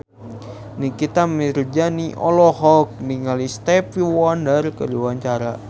Nikita Mirzani olohok ningali Stevie Wonder keur diwawancara